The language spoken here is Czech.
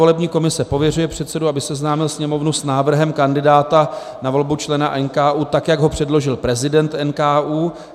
Volební komise pověřuje předsedu, aby seznámil Sněmovnu s návrhem kandidáta na volbu člena NKÚ, tak jak ho předložil prezident NKÚ.